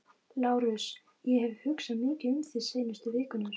LÁRUS: Ég hef hugsað mikið um þig seinustu vikurnar.